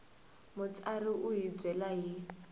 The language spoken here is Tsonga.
mutsari u hi byela hi